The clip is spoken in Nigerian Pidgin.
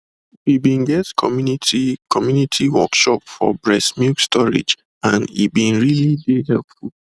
we been get community community workshop for breast milk storage and e been really dey helpful